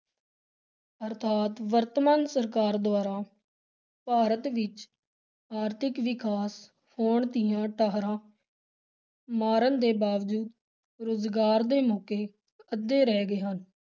ਅਰਥਾਤ ਵਰਤਮਾਨ ਸਰਕਾਰ ਦੁਆਰਾ ਭਾਰਤ ਵਿੱਚ ਆਰਥਿਕ ਵਿਕਾਸ ਹੋਣ ਦੀਆਂ ਟੋਹਰਾਂ ਮਾਰਨ ਦੇ ਬਾਵਜੂਦ ਰੁਜ਼ਗਾਰ ਦੇ ਮੌਕੇ ਅੱਧੇ ਰਹਿ ਗਏ ਹਨ।